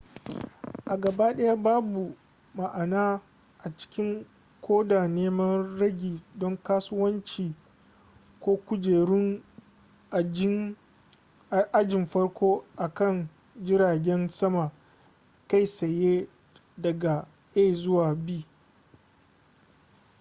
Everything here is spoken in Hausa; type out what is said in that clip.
a gabaɗaya babu ma'ana a cikin koda neman ragi don kasuwanci ko kujerun ajin farko a kan jiragen sama kai tsaye daga a zuwa b